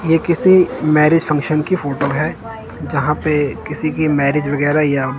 ये किसी marriage function की फोटो है। जहां पे किसी की मैरिज वगैरा या--